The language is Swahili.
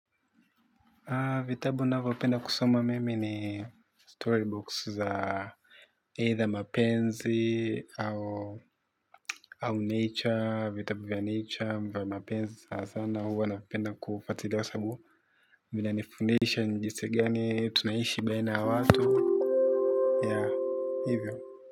Vitabu navyopenda kusoma mimi ni storybook za aidha mapenzi au nature, vitabu vya nature vya mapenzi sana sana huwa napenda kufuatilia kwa sababu vinanifundisha ni jinsi gani tunaishi baina ya watu ya hivyo.